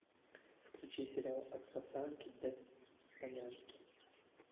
включи сериал от пацанки до панянки